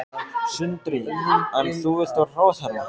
Sindri: En þú vilt vera ráðherra?